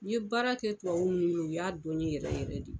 N ye baara kɛ tubabu mun bolo u y'a dɔn n ye yɛrɛ yɛrɛ de.